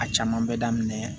A caman bɛ daminɛ